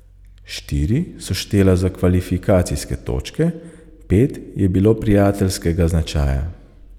Štiri so štela za kvalifikacijske točke, pet je bilo prijateljskega značaja.